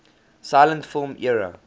silent film era